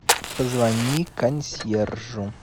позвони консьержу